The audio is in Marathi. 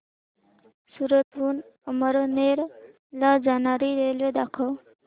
सूरत हून अमळनेर ला जाणारी रेल्वे दाखव